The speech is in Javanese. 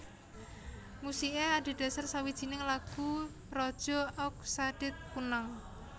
Musiké adhedhasar sawijining lagu raja Aug Sadet Kunnang